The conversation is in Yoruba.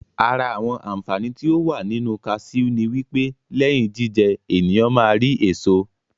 Àra àwọn Àǹfàani tí ó wà nínu kasiú ni wípé lẹ́yìn jíjẹ, ènìyàn ma á rí èso